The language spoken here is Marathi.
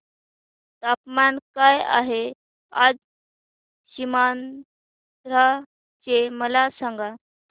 तापमान काय आहे आज सीमांध्र चे मला सांगा